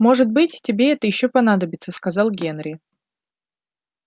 может быть тебе это ещё понадобится сказал генри